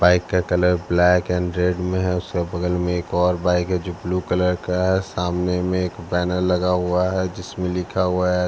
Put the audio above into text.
bike का colour black and red में है उसके बगल में एक और बाइक है जो ब्लू कलर का है सामने में एक बैनर लगा हुआ है जिसमें लिख हुआ है --